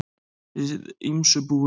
Við ýmsu búin